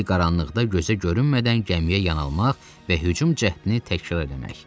Zil qaranlıqda gözə görünmədən gəmiyə yan almaq və hücum cəhdini təkrar eləmək.